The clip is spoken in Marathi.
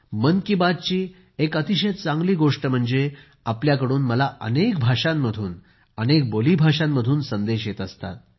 मन की बातची एक अतिशय चांगली गोष्ट म्हणजे आपल्याकडून मला अनेक भाषांमधून अनेक बोलीं भाषांमधून संदेश येत असतात